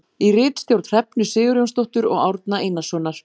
Í ritstjórn Hrefnu Sigurjónsdóttur og Árna Einarssonar.